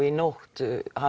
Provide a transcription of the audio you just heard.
í nótt